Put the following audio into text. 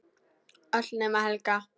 Öll nema Helga.